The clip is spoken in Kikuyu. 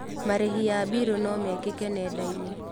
Marĩhi ya mbiru no mekĩke nenda-inĩ.